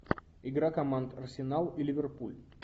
игра команд арсенал и ливерпуль